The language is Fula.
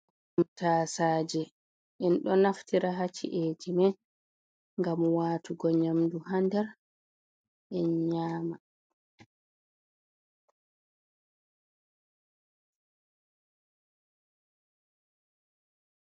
Taasaje, en ɗo naftira ha ci'eji men ngam waatugo nyamdu ha nder, en nyama.